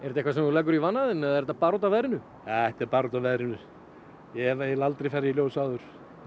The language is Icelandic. eitthvað sem þú leggur í vana þinn eða er þetta bara út af veðrinu þetta er bara út af veðrinu ég hef eiginlega aldrei farið í ljós áður